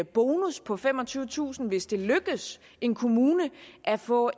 bonus på femogtyvetusind kr hvis det lykkes en kommune at få